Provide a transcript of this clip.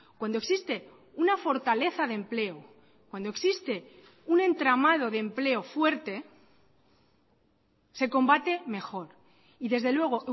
cuando existe una fortaleza de empleo cuando existe un entramado de empleo fuerte se combate mejor y desde luego